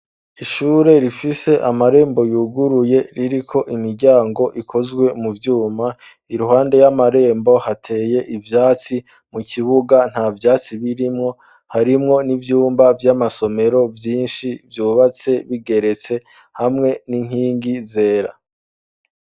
Ishure rifise amarembo yuguruye, ririko imiryango ikozwe mu vyuma, iruhande y'amarembo hateye ivyatsi, mu kibuga nta vyatsi birimwo, harimwo n'ivyumba vy'amasomero vyinshi, vyubatse bigeretse hamwe n'inkingi zera.